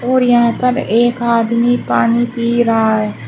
और यहाँ पर एक आदमी पानी पी रहा है।